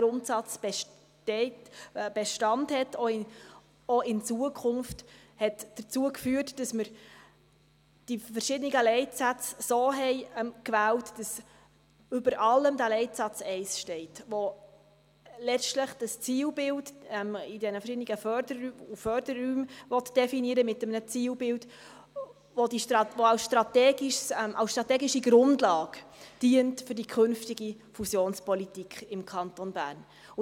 Dass dieser Grundsatz auch in Zukunft Bestand hat, hat dazu geführt, dass wir die verschiedenen Leitsätze so gewählt haben, dass über allen der Leitsatz 1 steht, der letztlich das Zielbild in den verschiedenen Förderräumen definieren will, mit einem Zielbild, das als strategische Grundlage für die künftige Fusionspolitik im Kanton Bern dient.